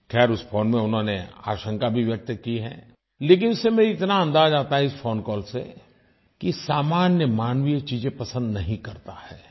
ख़ैर उस फोन में उन्होंने आशंका भी व्यक्त की है लेकिन इस समय इस फोन कॉल से इतना अंदाज आता है कि सामान्य मानवी ये चीजें पसंद नहीं करता है